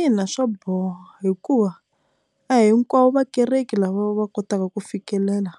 Ina, swaboha hikuva a hinkwavo vakereki lava va kotaka ku fikelela